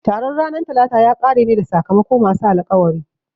Taron ranar Talata ya kare ne da sakamako masu alkawari